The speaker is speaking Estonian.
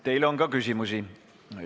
Teile on ka küsimusi.